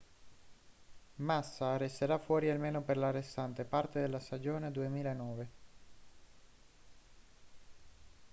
massa resterà fuori almeno per la restante parte della stagione 2009